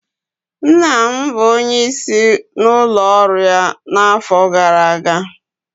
Nna m bụ onyeisi n'ụlọ ọrụ ya n'afọ gara aga